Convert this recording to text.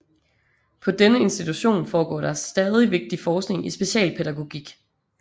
På denne institution foregår der stadig vigtig forskning i specialpædagogik